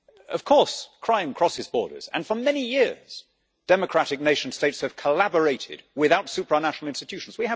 Of course crime crosses borders, and for many years democratic nation states have collaborated without supranational institutions.